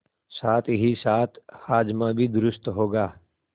साथहीसाथ हाजमा भी दुरूस्त होगा